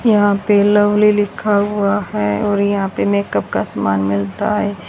यहां पे लवली लिखा हुआ है और यहां पे मेकअप का सामान मिलता है।